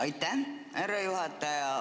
Aitäh, härra juhataja!